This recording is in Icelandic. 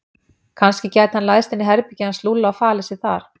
Kannski gæti hann læðst inn í herbergið hans Lúlla og falið sig þar.